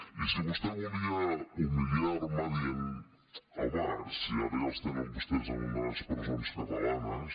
i si vostè volia humiliar me dient home si ara ja els tenen vostès en unes presons catalanes